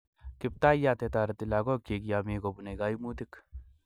kiptayat ne tareti lagok chik ya mi kopune kaimutik